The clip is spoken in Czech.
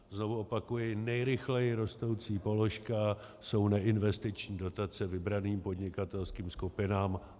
Znovu opakuji, nejrychleji rostoucí položka jsou neinvestiční dotace vybraným podnikatelským skupinám.